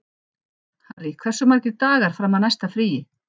Harry, hversu margir dagar fram að næsta fríi?